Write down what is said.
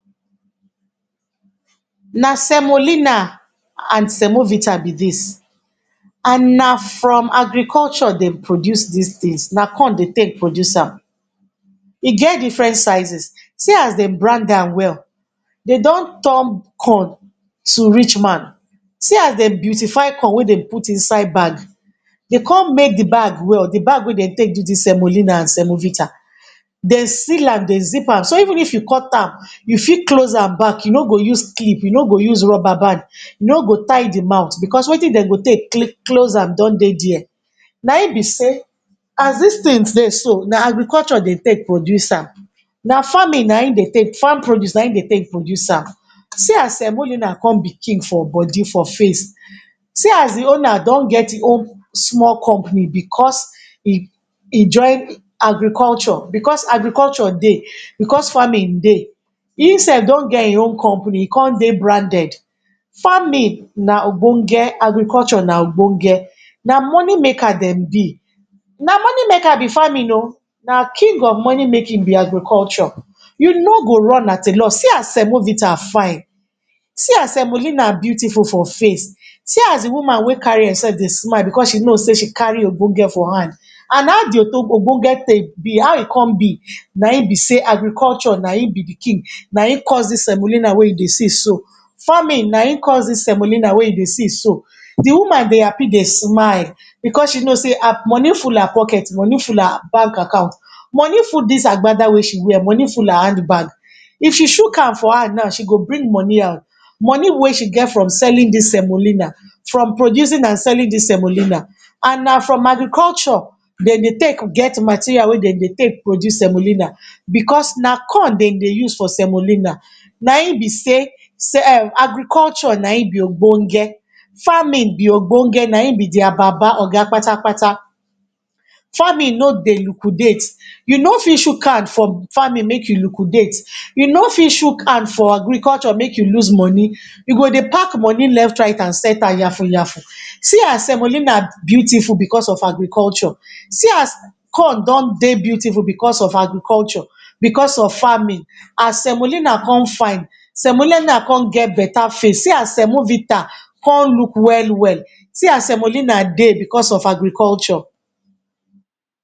Na semolina and semovita be dis and na from agriculture dem produce dis things. Na corn de take produce am. E get different sizes. See as de brand am well. De don turn corn to rich man. See as the beautify corn wey de put inside bag. De con make the bag well. The bag we de take do dis semolina and semovita. De seal am de zip am. Even if you cut am, you fit close am back. You no go use clip, you no go use rubber band, you no go tie the mouth becos wetin de go take close am don dey dere. Na im be sey, as dis thing dey so, na agriculture de take produce am. Na farming na im de take, farm produce na im de take produce am. See as semolina con be king for body for face. See as e owner don get e own small company becos e e join agriculture becos agriculture dey, becos farming de. Im self don get e own company. E con dey branded. Farming na ogbonge, agriculture na ogbonge. Na money maker dem be. Na money maker be farming oh. Na king of money making be agriculture. You no go run at a lose. See as semovita fine. See an semolina beautiful for face, see as the woman wey carry am self dey smile becos she know sey she carry ogbonge for hand. And how the ogbonge take be? How e come be? Na im be sey agriculture na im be the king. Na im cause dis semolina wey you dey see so. Farming na im cause dis semolina wey you dey see so. The woman dey happy dey smile becos she know sey um money full her pocket, money full her bank account, money full dis agbada wey she wear, money full her hand bag. If she chook hand for am now, she go bring money out. Money wey she get from selling dis semolina, from producing and selling dis semolina. And na from agriculture de dey take get material wey de dey take produce semolina becos na corn de dey use for semolina. na im be um agriculture na im be ogbonge. Farming be ogboge, na im be their oga patapata. Farming no dey liquidate. You no fit chook hand for farming make you liquidate. You no fit chuk hand for agriculture make you lose money. You go dey pack money left, right and centre yanfu yanfu. See as semolina beautiful becos of agriculture. See as corn don dey beautiful becos of agriculture, becos of farming. And semolina con fine. Semolina con get better face. See as semovita con look well well. See as semolina dey becos of agriculture.